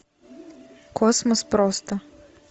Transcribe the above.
космос просто